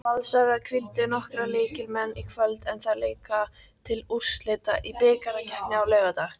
Valsarar hvíldu nokkra lykilmenn í kvöld en þær leika til úrslita í bikarkeppninni á laugardag.